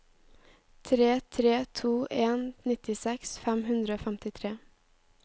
tre tre to en nittiseks fem hundre og femtitre